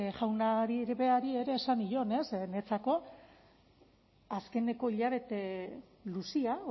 jaunari berari ere esan nion ez niretzako azkeneko hilabete luzea